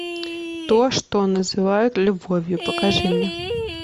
то что называют любовью покажи мне